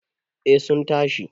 eh sun tashi